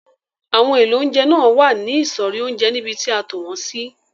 Àwọn èlò oúnjẹ náà wà ní ìsọ̀rí oúnjẹ níbi tí a tò wọn sí.